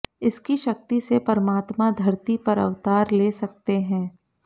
इसकी शक्ति से परमात्मा धरती पर अवतार ले सकते हैं